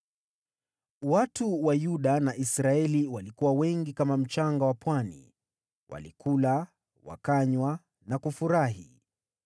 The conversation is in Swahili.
Watu wa Yuda na Israeli walikuwa wengi kama mchanga wa pwani; walikula, wakanywa na kufurahi.